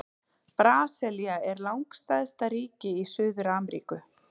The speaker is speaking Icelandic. Brasilía er langstærsta ríki í Suður-Ameríku.